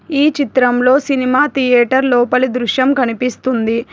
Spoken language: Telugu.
ఈ చిత్రంలో సినిమా థియేటర్ లోపలి దృశ్యం కనిపిస్తుంది.